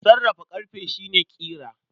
Sarrafa ƙarfe shi ne ƙira.